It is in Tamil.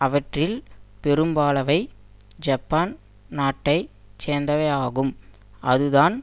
அவற்றில் பெரும்பாலானவை ஜப்பான் நாட்டை சேர்ந்தவையாகும் அதுதான்